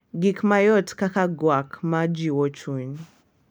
Gik mayot kaka gwak ma jiwo chuny,